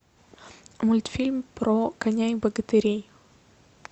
мультфильм про коня и богатырей